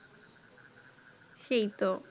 সেই তো